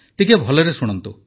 ଟିକିଏ ଭଲରେ ଶୁଣନ୍ତୁ